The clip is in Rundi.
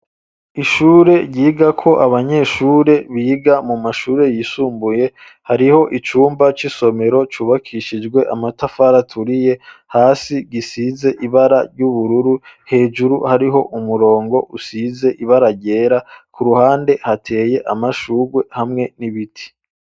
Ishure ryiga ko abanyeshure biga mu mashure yisumbuye hariho icumba c'isomero cubakishijwe amatafara aturiye hasi risize ibara ry'ubururu hejuru hariho umurongo usize ibara ryera ku ruhande hateye amashugwe hamwe n'ibiti.